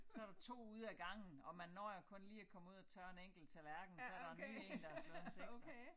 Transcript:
Så der 2 ude ad gangen og man når jo kun lige ud at komme ud og tørre en enkelt tallerken så der en ny én der har slået en sekser